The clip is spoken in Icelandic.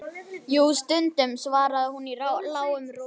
Jú, stundum, svaraði hún í lágum rómi.